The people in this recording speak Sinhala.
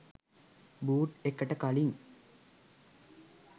බූට් එකට කලින්